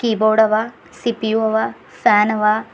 Board ಅವ C P U ಅವ fan ಅವ.